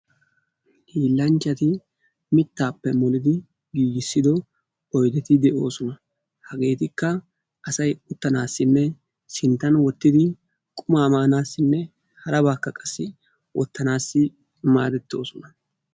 Hiillanchchati mittaappe molidi giigissido oydeti de'oosona. Hageetikka asay uttanaassinne sinttan wottidi qumaa maanaassinne harabaakka qassi wottanaassi maadettoosona.